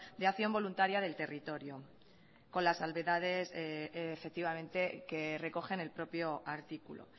de acción voluntaria del territorio con las salvedades efectivamente que recoge en el propio artículo